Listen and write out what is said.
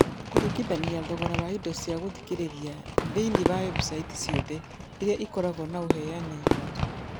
Kũringithania thogora wa indo cia gũthikĩrĩria thĩinĩ wa website ciothe iria ikoragwo na ũheani wa tũhũ